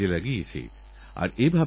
লক্ষ্যথাকুক সোনাতে